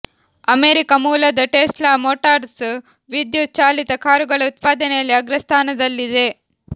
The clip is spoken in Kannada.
ಅಮೆರಿಕ ಮೂಲದ ಟೆಸ್ಲಾ ಮೋಟಾರ್ಸ್ ವಿದ್ಯುತ್ ಚಾಲಿತ ಕಾರುಗಳ ಉತ್ಪಾದನೆಯಲ್ಲಿ ಅಗ್ರಸ್ಥಾನದಲ್ಲಿದೆ